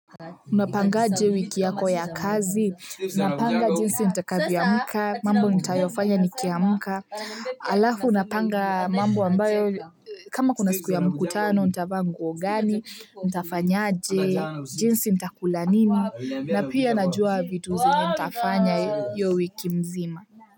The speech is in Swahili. Unapangaje wiki yako ya kazi? Napanga jinsi nitakavyoamka, mambo nitayofanya nikiamka, alafu napanga mambo ambayo kama kuna siku ya mkutano, nitavaa nguo gani, nitafanyaje, jinsi nitakula nini, na pia najua vitu zenye nitafanya hiyo wiki mzima.